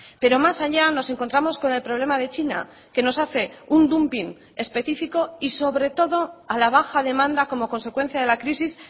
pero más allá nos encontramos con el problema de china que nos hace un dumping específico y sobre todo a la baja demanda como consecuencia de la crisis